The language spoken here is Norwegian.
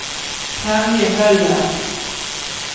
Terje Møller